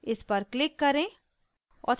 इस पर click करें